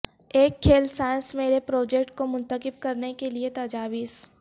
ایک کھیل سائنس میلے پروجیکٹ کو منتخب کرنے کے لئے تجاویز